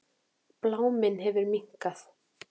Bláminn hefur minnkað.